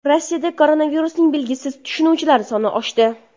Rossiyada koronavirusning belgisiz tashuvchilari soni oshdi.